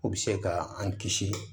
O bɛ se ka an kisi